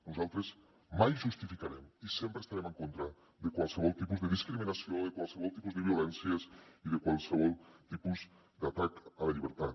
nosaltres mai justificarem i sempre estarem en contra de qualsevol tipus de discriminació de qualsevol tipus de violència i de qualsevol tipus d’atac a la llibertat